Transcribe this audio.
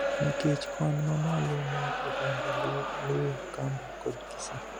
nikech kwan mamalo mar oganda Luo, Luhya, Kamba kod Kisii.